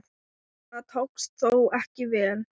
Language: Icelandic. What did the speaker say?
Það tókst þó ekki vel.